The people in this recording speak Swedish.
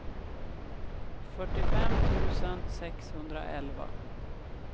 fyrtiofem tusen sexhundraelva